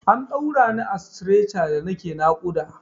An ɗaura ni a stretcher da nake naƙuda.